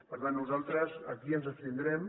per tant nosaltres aquí ens abstindrem